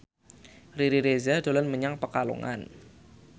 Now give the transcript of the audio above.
Riri Reza dolan menyang Pekalongan